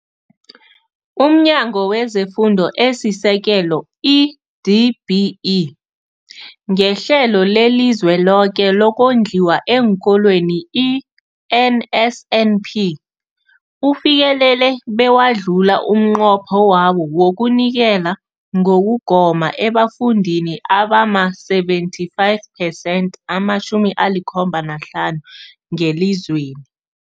UmNyango wezeFundo esiSekelo, i-DBE, ngeHlelo leliZweloke lokoNdliwa eenKolweni, i-NSNP, ufikelele bewadlula umnqopho wawo wokunikela ngokugoma ebafundini abama-75 phesenthi, ama-75 ngelizweni.